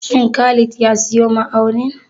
Shin Khalid ya siyo ma'aunin?